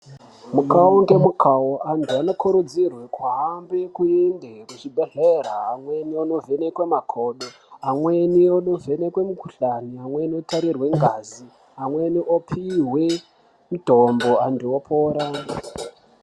Mukawo ngemukawo antu anokurudzirwe kuhambe kuende kuzvibhedhlera amweni koovhenekwe makodo. Amweni anovhenekwe mukhuhlani amweni eionekwe ngazi amweni opihwe mitombo antu opora.